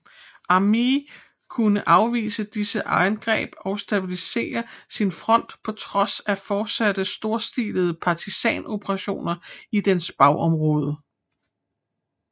Armée kunne afvise disse angreb og stabilisere sin front på trods af fortsatte storstilede partisan operationer i dens bagområder